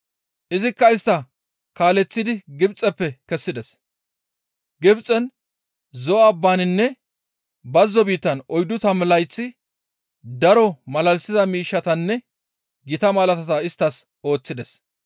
Izikka istta kaaleththidi Gibxeppe kessides; Gibxen, Zo7o abbaninne bazzo biittan oyddu tammu layth daro malalisiza miishshatanne gita malaatata isttas ooththides.